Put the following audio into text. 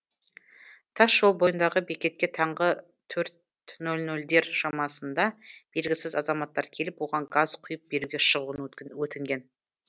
тасжол бойындағы бекетке таңғы төрт нөл нөлдер шамасында белгісіз азаматтар келіп оған газ құйып беруге шығуын өтінген